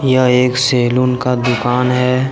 यह एक सैलून का दुकान है।